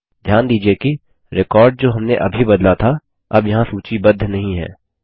ध्यान दीजिये कि रिकॉर्ड जो हमने अभी बदला था अब यहाँ सूचीबद्ध नहीं है